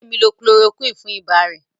Bidemi lo chloroquine fún ibà rẹ̀